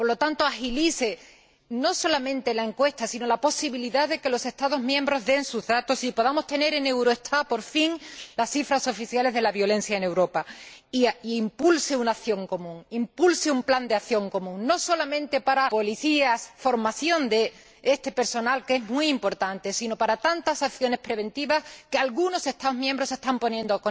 Por lo tanto, agilice no solamente la encuesta, sino también la posibilidad de que los Estados miembros den sus datos y podamos tener en Eurostat por fin las cifras oficiales de la violencia en Europa, e impulse una acción común, impulse un plan de acción común, no solamente para jueces y policías, y para la formación de este personal, que es muy importante, sino para tantas acciones preventivas que algunos Estados miembros están poniendo